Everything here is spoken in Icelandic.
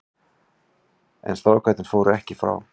En strákarnir fóru ekki frá.